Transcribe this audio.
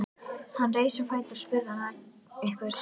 Hann reis á fætur og spurði hana einhvers.